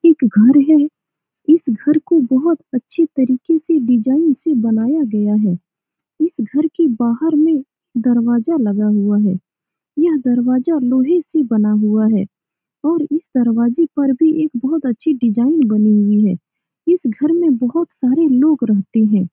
एक घर है इस घर को बहुत अच्छे तरीके से डिज़ाइन से बनाया गया है इस घर के बाहर में दरवाजा लगा हुआ है यह दरवाजा लोहे का बना हुआ है और इस दरवाजे पे भी बहुत अच्छी डिज़ाइन बनी हुई है इस घर में बहुत सारे लोग रहते हैं।